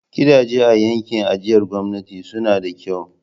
Gidajen a yankin ajiyar gwamnati suna da kyau.